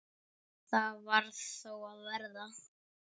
Það varð þó að verða.